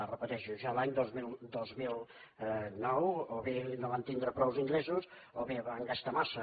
ho repeteixo ja l’any dos mil nou o bé no van tindre prou ingressos o bé van gastar massa